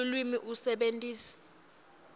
lulwimi usebentise